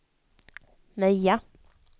Möja